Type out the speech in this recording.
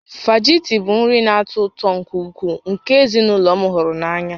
Fajita bụ nri na-atọ ụtọ nke ukwuu nke ezinụlọ m hụrụ n'anya